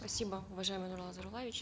спасибо уважаемый нурлан зайроллаевич